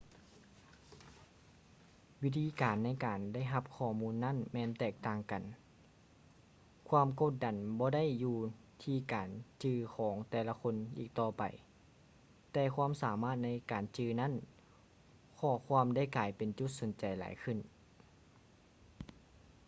ວິທີການໃນການໄດ້ຮັບຂໍ້ມູນນັ້ນແມ່ນແຕກຕ່າງກັນ ຄວາມກົດດັນບໍ່ໄດ້ຢູ່ທີ່ການຈື່ຂອງແຕ່ລະຄົນອີກຕໍ່ໄປ ແຕ່ຄວາມສາມາດໃນການຈື່ນັ້ນຂໍ້ຄວາມໄດ້ກາຍເປັນຈຸດສົນໃຈຫຼາຍຂຶ້ນ